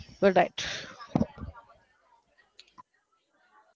good night